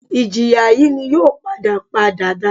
Ìjìyà yìí n yóò padà pa dàda